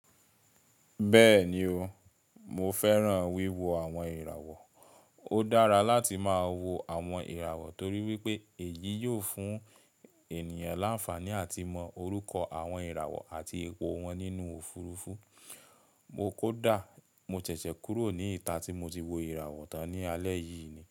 Bẹ́ẹ̀ni o, mo fẹ́ràn wíwo àwọn ìràwọ̀. Ó dára láti máa wo àwọn ìràwọ̀ torí wípé èyí yóò fún ènìyàn láǹfààní àti mọ orúkọ àwọn ìràwọ̀ àti ipò wọn nínú òfurufú. Mo kódà mo ṣẹ̀ṣẹ̀ kúrò ní ìta tí mo ti wo ìràwọ̀ tán ní alẹ́ yìí.